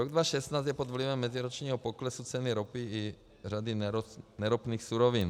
Rok 2016 je pod vlivem meziročního poklesu ceny ropy i řady neropných surovin.